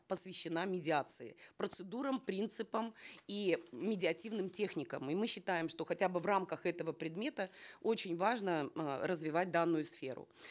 посвящена медиации процедурам принципам и медиативным техникам и мы считаем что хотя бы в рамках этого предмета очень важно э развивать данную сферу